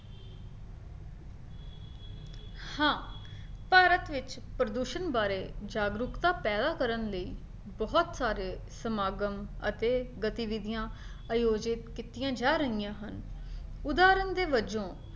ਹਾਂ, ਭਾਰਤ ਵਿੱਚ ਪ੍ਰਦੂਸ਼ਣ ਬਾਰੇ ਜਾਗਰੂਕਤਾ ਪੈਦਾ ਕਰਨ ਲਈ ਬਹੁਤ ਸਾਰੇ ਸਮਾਗਮ ਅਤੇ ਗਤੀਵਿਧੀਆਂ ਆਯੋਜਿਤ ਕੀਤੀਆਂ ਜਾ ਰਹੀਆਂ ਹਨ ਉਦਾਹਰਣ ਦੇ ਵਜੋਂ